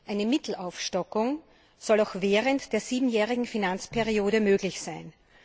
Eine Mittelaufstockung soll auch während der siebenjährigen Finanzperiode möglich sein.